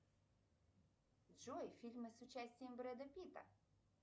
джой фильмы с участием брэда питта